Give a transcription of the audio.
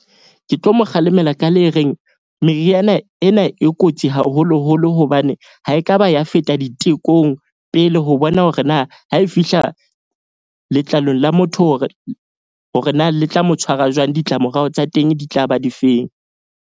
Ke tlo mo kgalemela ka le reng. Meriana ena e kotsi haholoholo. Hobane ha ekaba ya feta ditekong pele ho bona, hore na ha e fihla letlalong la motho, hore na le tla mo tshwara jwang, ditlamorao tsa teng di tlaba di feng.